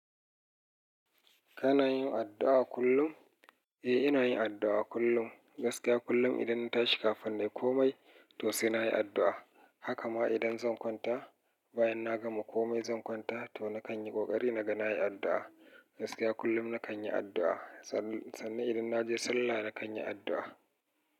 Kana yin addu'a kullum? Eh, ina yin addu'a kullum. Gaskiya kullum idan na tashi kafin in yi komai, to sai na yi addu'a. Haka ma idan zan kwanta, bayan na gama komai zan kwanta, to na kan yi ƙoƙari na ga na yi addu'a. Gaskiya kullum na kan yi addu'a. Sannan idan na je sallah na kan yi addu'a.